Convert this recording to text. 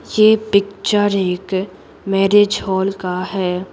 यह पिक्चर एक marriage hall का है।